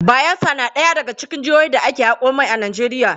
Bayelsa na ɗaya daga cikin jihohin da ake haƙo mai a Najeriya.